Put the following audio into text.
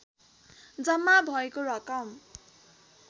जम्मा भएको रकम